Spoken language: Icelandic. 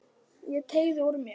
Ég teygði úr mér.